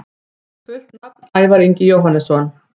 Fullt nafn: Ævar Ingi Jóhannesson